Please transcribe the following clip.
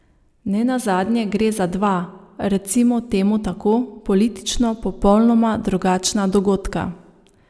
Nenazadnje gre za dva, recimo temu tako, politično popolnoma drugačna dogodka.